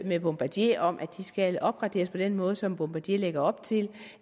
med bombardier om at de skal opgraderes på den måde som bombardier lægger op til